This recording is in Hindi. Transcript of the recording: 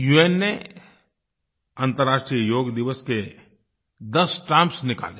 उन ने अंतराष्ट्रीय योग दिवस के 10 स्टैम्प्स निकाले